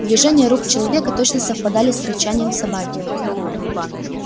движения рук человека точно совпадали с рычанием собаки